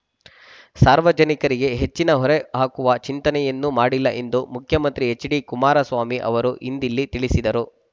ಸಾರ್ವಜನಿಕರಿಗೆ ಹೆಚ್ಚಿನ ಹೊರೆ ಹಾಕುವ ಚಿಂತನೆಯನ್ನೂ ಮಾ‌ಡಿಲ್ಲ ಎಂದು ಮುಖ್ಯಮಂತ್ರಿ ಹೆಚ್ಡಿ ಕುಮಾರಸ್ವಾಮಿ ಅವರು ಇಂದಿಲ್ಲಿ ತಿಳಿಸಿದರು